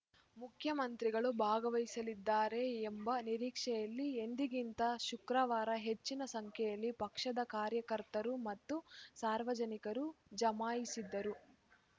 ಮುಖ್ಯಮಂತ್ರಿಗಳು ಭಾಗವಹಿಸಲಿದ್ದಾರೆ ಎಂಬ ನಿರೀಕ್ಷೆಯಲ್ಲಿ ಎಂದಿಗಿಂತ ಶುಕ್ರವಾರ ಹೆಚ್ಚಿನ ಸಂಖ್ಯೆಯಲ್ಲಿ ಪಕ್ಷದ ಕಾರ್ಯಕರ್ತರು ಮತ್ತು ಸಾರ್ವಜನಿಕರು ಜಮಾಯಿಸಿದ್ದರು